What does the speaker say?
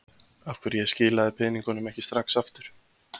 Af hverju ég skilaði peningunum ekki strax aftur.